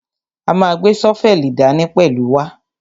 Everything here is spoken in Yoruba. A ma gbé ṣọ́fẹ́lì dání pẹ̀lú wa.